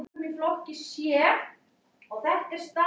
Mér virðist að kenning kommúnismans standi því næst.